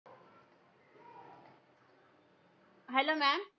Hello maam